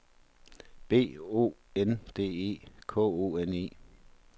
B O N D E K O N E